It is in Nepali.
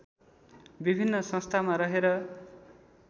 विभिन्न संस्थामा रहेर